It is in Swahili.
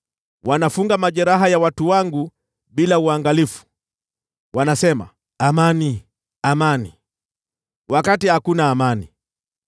Wanafunga majeraha ya watu wangu bila uangalifu. Wanasema, “Amani, amani,” wakati hakuna amani.